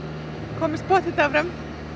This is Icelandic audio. komumst pottþétt áfram